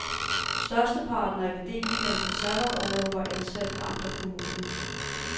Størsteparten af akademikerne på sabbatorlov var ansat i amt og kommune.